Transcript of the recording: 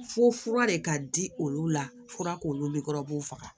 Fo fura de ka di olu la fura k'olu kɔrɔ u b'u faga